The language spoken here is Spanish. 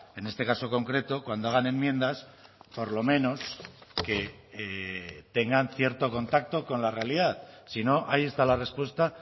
en este caso concreto cuando hagan enmiendas por lo menos que tengan cierto contacto con la realidad si no ahí está la respuesta